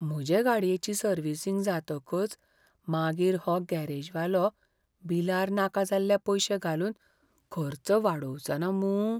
म्हजे गाडयेची सर्विसींग जातकच मागीर हो गॅरेजवालो बिलार नाका जाल्ले पयशे घालून खर्च वाडोवचो ना मूं!